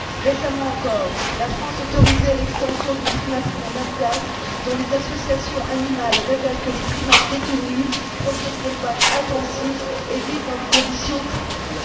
Récemment encore, la France a autorisé l'extension d'une primaterie en Alsace, à propos de laquelle les associations animales révèlent que les primates détenus proviennent d'élevages intensifs et vivent dans des conditions terribles.